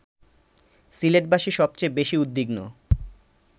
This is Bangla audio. সিলেটবাসী সবচেয়ে বেশি উদ্বিগ্ন